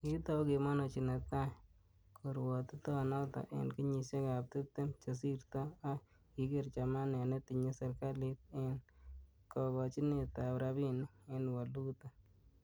Kikitou kemonochi netai korwotitoni en kenyisiek tibtem che kisirto, ak kigeer chamet netinye serkalit en kokochinet ab rabinik ak waluutik.